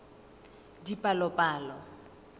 dipalopalo